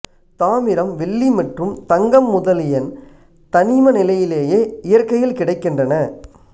தாமிரம் வெள்ளி மற்றும் தங்கம் முதலியன் தனிமநிலையிலேயே இயற்கையில் கிடைக்கின்றன